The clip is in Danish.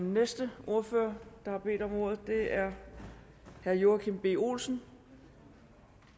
den næste ordfører der har bedt om ordet er herre joachim b olsen